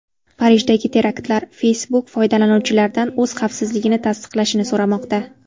Parijdagi teraktlar: Facebook foydalanuvchilardan o‘z xavfsizligini tasdiqlashini so‘ramoqda.